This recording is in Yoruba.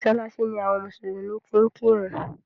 Mọ́ṣáláṣí ni àwọn mùsùlùmí ti ń kẹ́run.